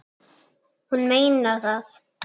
Hún meinar það.